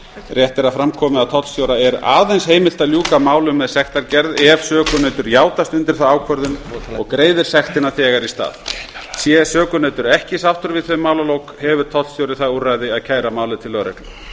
rétt er að fram komi að tollstjóra er aðeins heimilt að ljúka málum með sektargerð ef sökunautur játast undir þá ákvörðun og greiðir sektina þegar í stað sé sökunautur ekki sáttur við þau málalok hefur tollstjóri það úrræði að kæra málið til lögreglu